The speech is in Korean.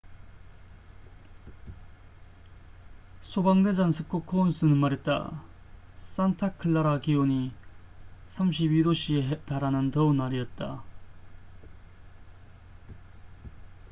"소방 대장 스콧 코운스는 말했다. "산타클라라 기온이 32℃에 달하는 더운 날이었다.